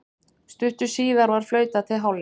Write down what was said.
Stuttu síðar var flautað til hálfleiks.